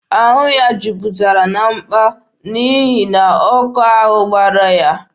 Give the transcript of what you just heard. Ahụ ya niile juputara na mpa n'ihi na ọkụ ahụ gbara ya.